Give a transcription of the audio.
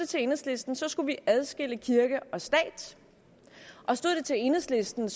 til enhedslisten skulle vi adskille kirke og stat og stod det til enhedslisten